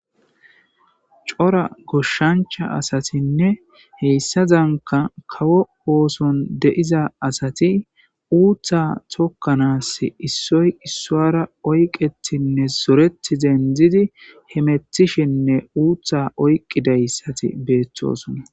cora goshshancha asatinne heyssazanka kawo ooson de7iza asati uuththa tokkanas issoy issoara oyqetinne zoreti dendzidi hemethishinne uutha oyqqidayssati beeththosona